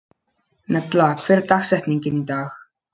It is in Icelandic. Nella, hver er dagsetningin í dag?